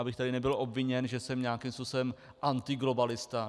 Abych tady nebyl obviněn, že jsem nějakým způsobem antiglobalista.